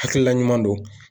Hakilina ɲuman don